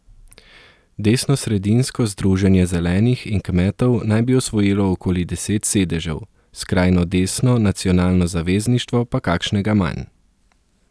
Desnosredinsko Združenje zelenih in kmetov naj bi osvojilo okoli deset sedežev, skrajno desno Nacionalno zavezništvo pa kakšnega manj.